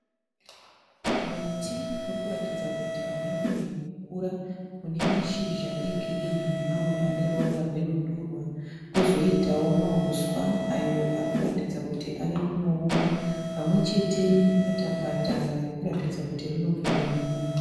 Muti urikuratidza kuti hauna kunyanyokukura. Unemashizha egirinhi nemamwe aneruvara rwenhundurwa. Kozoitawo mahuswa ayo arikuratidza kuti avekunooma pamwechete nepatapata ririkuratidza kuti rinopfekwa nemunhu.